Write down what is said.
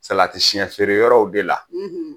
Salati siyɛn feere yɔrɔw de la,